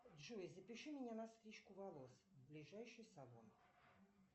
джой запиши меня на стрижку волос в ближайший салон